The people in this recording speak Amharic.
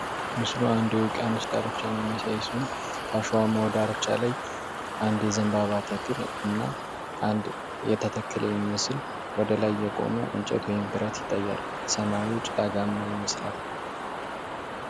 ምስሉ አንድ የውቅያኖስ ዳርቻን የሚያሳይ ሲሆን ከአሸዋማው ዳርቻ ላይ አንድ የዘንባባ ተክል እና አንድ የተተከለ የሚመስል ወደ ላይ የቆመ እንጨት ወይም ብረት ይታያል። ሰማዩ ጭጋጋማ ይመስላል።